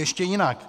Ještě jinak.